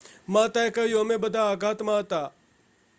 "માતાએ કહ્યું "અમે બધા આઘાતમાં હતા.""